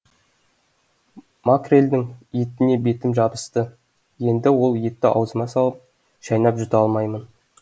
макрельдің етіне бетім жабысты енді ол етті аузыма салып шайнап жұта алмаймын